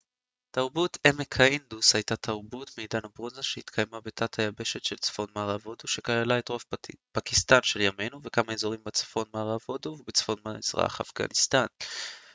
תרבות עמק האינדוס הייתה תרבות מעידן הברונזה שהתקיימה בתת היבשת של צפון מערב הודו שכללה את רוב פקיסטן של ימינו וכמה אזורים בצפון מערב הודו ובצפון מזרח אפגניסטן